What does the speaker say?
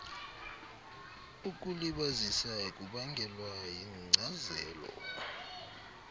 ukulibazisa kubangelwa yinkcazelo